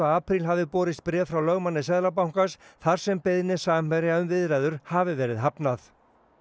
apríl hafi borist bréf frá lögmanni Seðlabankans þar sem beiðni Samherja um viðræður hafi verið hafnað